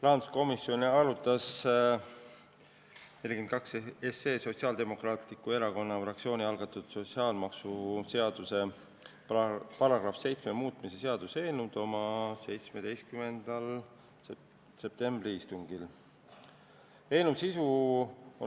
Rahanduskomisjon arutas eelnõu 42, Sotsiaaldemokraatliku Erakonna fraktsiooni algatatud sotsiaalmaksuseaduse § 7 muutmise seaduse eelnõu oma 17. septembri istungil.